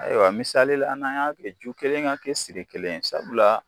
Ayiwa misali la an n'an y'a kɛ, ju kelen ka kɛ siri kelen ,sabula